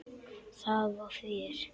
Það var fjör.